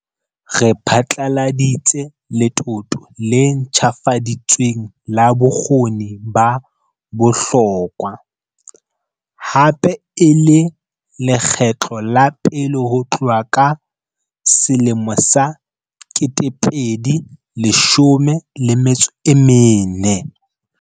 Re phatlaladitse letoto le ntjhafaditsweng la Bokgoni ba Bohlokwa, hape e le lekgetlo la pele ho tloha ka 2014.